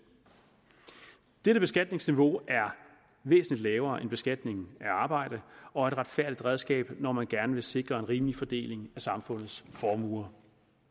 dette beskatningsniveau er væsentlig lavere end beskatningen af arbejde og et retfærdigt redskab når man gerne vil sikre en rimelig fordeling af samfundets formuer